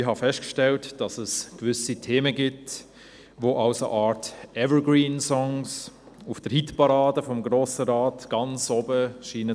Ich habe festgestellt, dass es gewisse Themen gibt, die als eine Art Evergreen-Songs ganz oben auf der Hitparade des Grossen Rates zu rangieren scheinen.